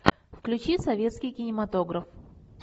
включи советский кинематограф